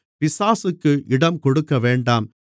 பிசாசுக்கு இடம் கொடுக்கவேண்டாம்